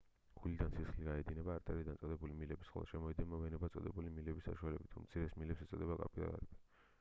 გულიდან სისხლი გაედინება არტერიად წოდებული მილების ხოლო შემოედინება ვენებად წოდებული მილების საშუალებით უმცირეს მილებს ეწოდებათ კაპილარები